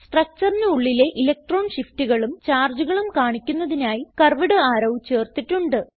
Structureന് ഉള്ളിലെ ഇലക്ട്രോൺ shiftകളും chargeകളും കാണിക്കുന്നതിനായി കർവ്വ്ഡ് അറോ ചേർത്തിട്ടുണ്ട്